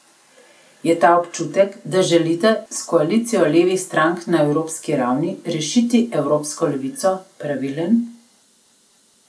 Je ta občutek, da želite s koalicijo levih strank na evropski ravni, rešiti evropsko levico, pravilen?